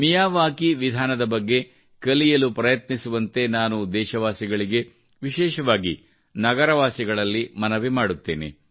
ಮಿಯಾವಾಕಿಯ ವಿಧಾನದ ಬಗ್ಗೆ ಕಲಿಯಲು ಪ್ರಯತ್ನಿಸುವಂತೆ ನಾನು ದೇಶವಾಸಿಗಳಿಗೆ ವಿಶೇಷವಾಗಿ ನಗರವಾಸಿಗಳಲ್ಲಿ ಮನವಿ ಮಾಡುತ್ತೇನೆ